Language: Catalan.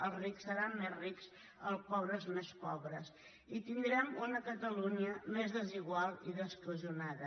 els rics seran més rics els pobres més pobres i tindrem una catalunya més desigual i descohesionada